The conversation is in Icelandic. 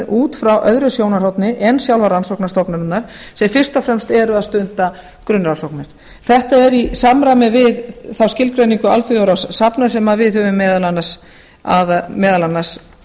út frá öðru sjónarhorni en sjálfar rannsóknastofnanirnar sem fyrst og fremst eru að stunda grunnrannsóknir þetta er í samræmi við þá skilgreiningu alþjóðaráðs safna sem við höfum meðal annars